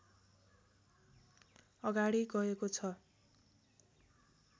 अगाडि गएको छ